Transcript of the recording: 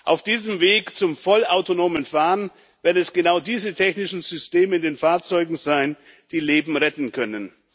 Auf diesem Weg zum vollautonomen Fahren werden es genau diese technischen Systeme in den Fahrzeugen sein, die Leben retten können.